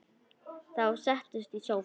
Þau settust í sófann.